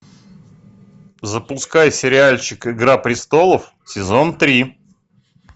запускай сериальчик игра престолов сезон три